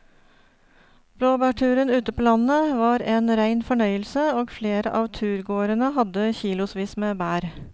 Blåbærturen ute på landet var en rein fornøyelse og flere av turgåerene hadde kilosvis med bær.